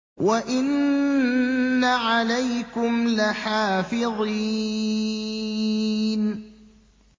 وَإِنَّ عَلَيْكُمْ لَحَافِظِينَ